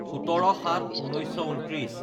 ১৭/০৭/১৯২৯